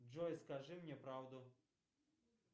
джой скажи мне правду